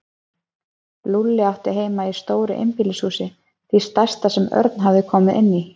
Lúlli átti heima í stóru einbýlishúsi, því stærsta sem Örn hafði komið inn í.